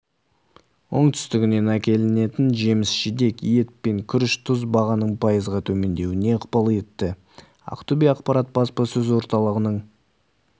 оңтүстігінен әкелінетін жеміс-жидек ет пен күріш тұз бағаның пайызға төмендеуіне ықпал етті ақтөбе-ақпарат баспасөз орталығының